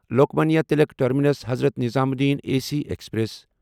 Lokmanya Tilak terminus Hazrat Nizamuddin A C express